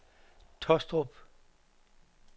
Taastrup